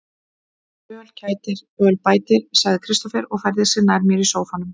Öl kætir, öl bætir, sagði Kristófer og færði sig nær mér í sóffanum.